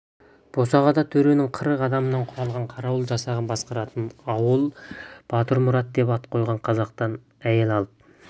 босағада төренің қырық адамнан құралған қарауыл жасағын басқаратын ауыл батырмұрат деп ат қойған қазақтан әйел алып